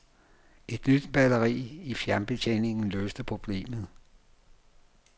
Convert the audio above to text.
Et nyt batteri i fjernbetjeningen løste problemet.